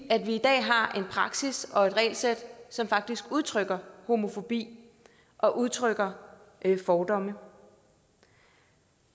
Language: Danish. i dag har en praksis og regelsæt som faktisk udtrykker homofobi og udtrykker fordomme